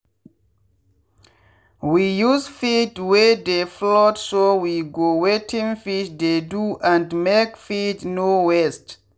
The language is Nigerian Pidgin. we use feed wey dey float so we go wetin fish dey do and make feed no waste.